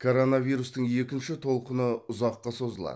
коронавирустың екінші толқыны ұзаққа созылады